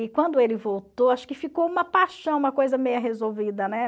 E quando ele voltou, acho que ficou uma paixão, uma coisa resolvida, né?